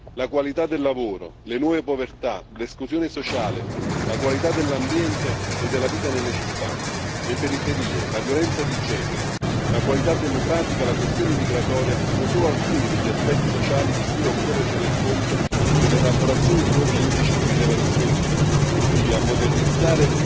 La qualità del lavoro, le nuove povertà, l'esclusione sociale, la qualità dell'ambiente e della vita nelle città, le periferie, la violenza di genere, la qualità democratica, la questione migratoria sono solo alcuni degli aspetti sociali di cui occorre tener conto nell'elaborazione di nuovi indici di rilevazione, utili a modernizzare